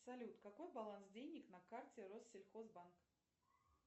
салют какой баланс денег на карте россельхозбанк